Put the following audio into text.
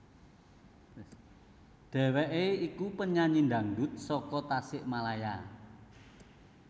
Dheweké iku penyanyi dangdut saka Tasikmalaya